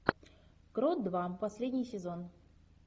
крот два последний сезон